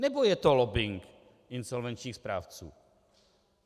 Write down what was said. Nebo je to lobbing insolvenčních správců?